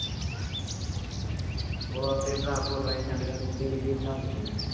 ਉਹ ਆਪੇ ਭਰਾ ਫੋਟੀਆਂ ਜਿਹੀ send ਕਰਕੇ ਕਹਿੰਦੇ ਵੀਡੀਓ ਬਣਾ ਕੇ ਦਿਉ